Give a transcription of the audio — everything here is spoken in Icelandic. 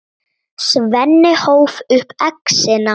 Svenni hóf upp exina.